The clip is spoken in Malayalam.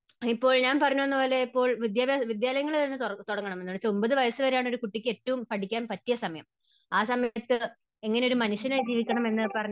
ഇപ്പോൾ ഞാൻ പറഞ്ഞു വന്നതുപോലെ ഇപ്പോൾ വിദ്യാ, വിദ്യാലയങ്ങൾ തന്നെ തുടങ്ങണം. ഒൻപത് വയസ്സ് വരെയാണ് ഒരു കുട്ടിക്ക് ഏറ്റവും പഠിക്കാൻ പറ്റിയ സമയം. ആ സമയത്ത് എങ്ങനെ ഒരു മനുഷ്യനായി ജീവിക്കണം എന്ന്